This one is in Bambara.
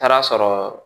Taara sɔrɔ